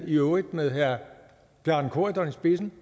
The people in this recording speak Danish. i øvrigt med herre bjarne corydon i spidsen